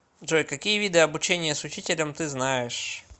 джой какие виды обучение с учителем ты знаешь